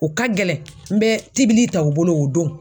U ka gɛlɛn n bɛ tibili ta u bolo o don.